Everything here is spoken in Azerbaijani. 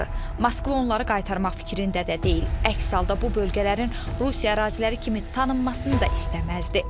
Moskva onları qaytarmaq fikrində də deyil, əks halda bu bölgələrin Rusiya əraziləri kimi tanınmasını da istəməzdi.